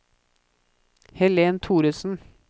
Helen Thoresen